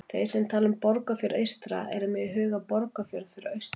Þeir sem tala um Borgarfjörð eystra eru með í huga Borgarfjörð fyrir austan.